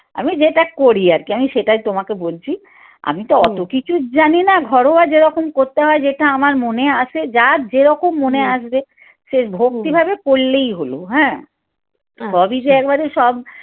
আমি যেটা করি আরকি আমি সেটাই তোমাকে বলছি আমি তো অত কিছু জানি না ঘরোয়া যেরকম করতে হয় যেটা আমার মনে আছে যার যেরকম মনে আসবে সে ভক্তিভাবে করলেই হল হ্যাঁ সবই যে একবারে সব